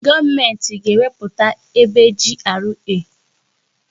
Gọọmenti ga na-ekewapụta ebe GRA.